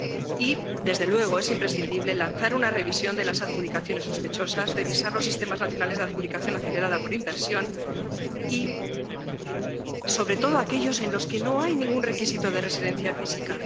Y, desde luego, es imprescindible lanzar una revisión de las adjudicaciones sospechosas, revisar los sistemas nacionales de adjudicación acelerada por inversión, sobre todo aquellos en los que no hay ningún requisito de residencia física.